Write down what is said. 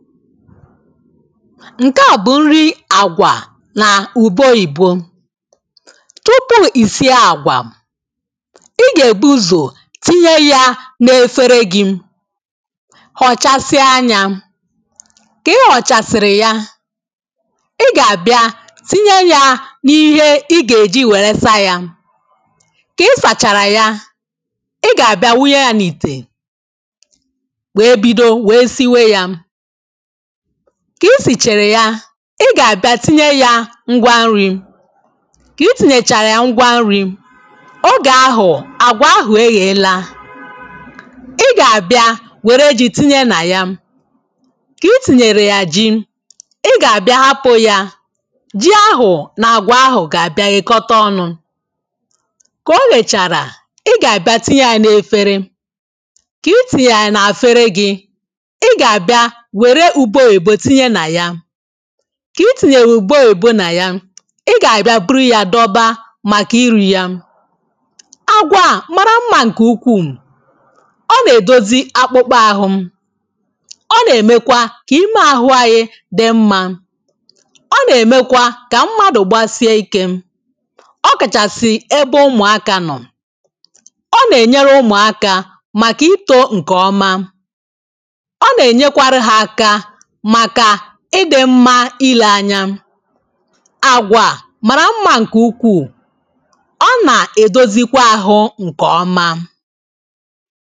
ǹke à bụ̀ nri àgwà nà ùbe oyìbo tupu ì sị́ àgwà ị gà-èbu ụ̀zọ tinye ya nà-efere gị họ̀chasịa nya kà ị họ̀chasị̀rị̀ ya ị gà-àbịa tinye ya n’ihe ị gà-èji wère sa ya kà ị sàchàrà ya ị gà-àbịa wunye ya n’ìtè wéé bido wéé siwe ya. kà i sìchara ya ị gà-àbịa tinye ya ngwa nri̇ kà i tìnyèchàrà ya ngwa nri̇. Ka itinyecha ngwa nri ogè ahụ̀ àgwà ahụ̀ eghè lȧ ị gà-àbịa wère ji tinye nà ya kà i tìnyèrè ya ji ị gà-àbịa hapụ̇ ya ji ahụ̀ nà àgwà ahụ̀ gà-àbịa ghèkọta ọnụ̇ kà o ghèchàrà ị gà-àbịa tinye ya n’efere kà i tìnyè ya n’àfere gị̇ kà i tìnyèrè ùbe òyìbo nà ya ị gà-àbị̀a buru ya dọba màkà iri̇ ya àgwà màrà mma ǹkè ukwuù ọ nà-èdozi akpụkpọ ahụ̇ ọ nà-èmekwa kà ime àhụ anyị dị mmȧ ọ nà-èmekwa kà mmadụ̀ gbasie ikė ọ kàchàsị̀ ebe ụmụ̀akȧ nọ̀ ọ nà-ènyere ụmụ̀akȧ màkà itȯ ǹkè ọma màkà ịdị mma ile anya àgwà màrà mma nke ukwuu ọ nà-edozikwa ahụ nke ọma